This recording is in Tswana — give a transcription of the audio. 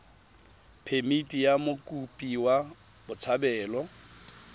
phemithi ya mokopi wa botshabelo